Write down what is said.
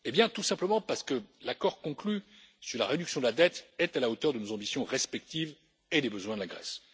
Tout simplement, parce que l'accord conclu sur la réduction de la dette est à la hauteur de nos ambitions respectives et des besoins de la Grèce.